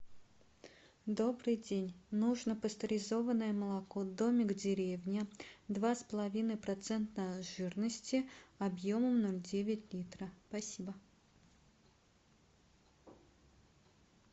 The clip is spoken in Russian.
добрый день нужно пастеризованное молоко домик в деревне два с половиной процента жирности объемом ноль девять литра спасибо